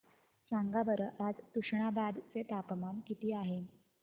सांगा बरं आज तुष्णाबाद चे तापमान किती आहे